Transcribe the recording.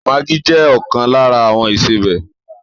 Maggi jẹ ọkan lára àwọn ìsebẹ̀